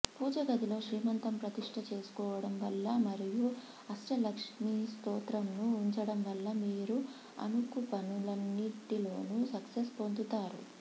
పూజగదిలో శ్రీయంత్రం ప్రతిష్ట చేసుకోవడం వల్ల మరియు అష్టలక్ష్మీ స్త్రోతంను ఉంచడం వల్ల మీరు అనుకుపనులన్నింటిలోనూ సక్సెస్ పొందుతారు